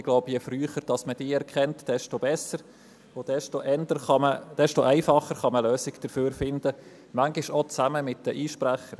Ich glaube, je früher man diese erkennt, desto besser ist es und desto einfacher lassen sich Lösungen dafür finden, manchmal auch zusammen mit den Einsprechern.